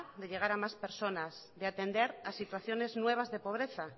de llevar a más personas de atender a situaciones nuevas de pobreza